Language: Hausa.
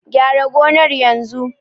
Gyara gonar yanzu!